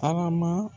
Tarama